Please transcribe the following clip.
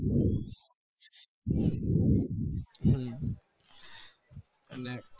અમ